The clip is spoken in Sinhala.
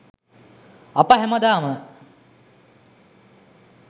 අප හැමදාම